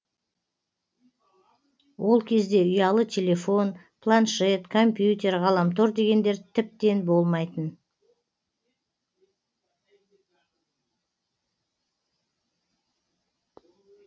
ол кезде ұялы телефон планшет компьютер ғаламтор дегендер тіптен болмайтын